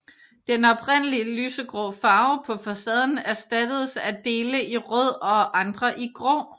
Den oprindelige lysegrå farve på facaden erstattedes af dele i rød og andre i grå